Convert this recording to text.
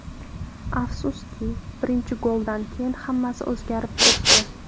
Afsuski, birinchi goldan keyin hammasi o‘zgarib ketdi.